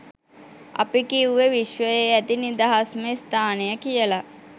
අපි කිව්වෙ විශ්වයේ ඇති නිදහස්ම ස්ථානය කියල.